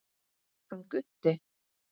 Hann Gutti?